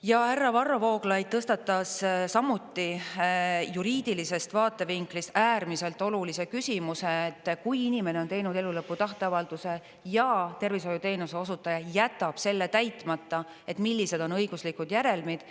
Ja härra Varro Vooglaid tõstatas samuti juriidilisest vaatevinklist äärmiselt olulise küsimuse, et kui inimene on teinud elulõpu tahteavalduse ja tervishoiuteenuse osutaja jätab selle täitmata, et millised on õiguslikud järelmid.